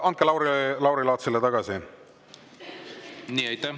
Andke Lauri Laatsile tagasi!